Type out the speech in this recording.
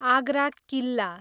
Agra Killa